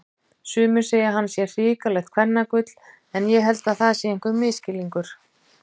Sumir segja að hann sé hrikalegt kvennagull en ég held það sé einhver misskilningur.